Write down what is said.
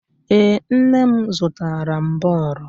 Ee, nne m zụtara m bọọlụ.